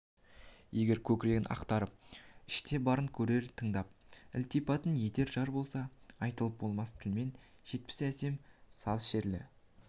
егер көкірегін ақтарып іште барын көрер тыңдар ілтипат етер жар болса айтылып болмас тілмен жетпес әсем саз шерлі